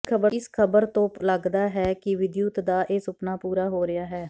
ਇਸ ਖ਼ਬਰ ਤੋਂ ਲੱਗਦਾ ਹੈ ਕਿ ਵਿਦਯੁਤ ਦਾ ਇਹ ਸੁਪਨਾ ਪੂਰਾ ਹੋ ਰਿਹਾ ਹੈ